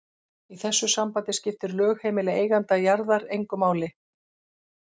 Í þessu sambandi skiptir lögheimili eiganda jarðar engu máli.